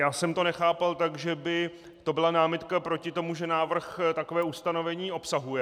Já jsem to nechápal tak, že by to byla námitka proti tomu, že návrh takové ustanovení obsahuje.